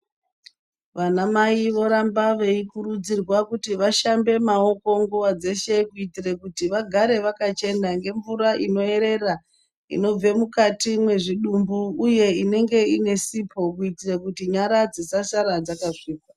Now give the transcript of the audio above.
Vana mai voramba veikurudzirwa kuti vashambe maoko nguwa dzeshe kuitire kuti vagare vakachena ngemvura inoerera inobve mukati mwezvidumbu uye inenge iine sipo kuitire kuti nyara dzisasara dzakasvipa.